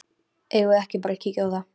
Eigum við ekki bara að kíkja á það?